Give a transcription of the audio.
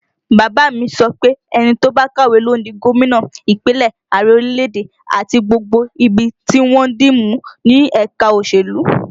Bàbá a mi sọ pé ẹni tó bá kàwé ló ń di gómìnà Ìpínlẹ̀, Ààrẹ orílẹ̀èdè, àti gbogbo ibi tí wọ́n ń dì mú ní ẹ̀ka òṣèlú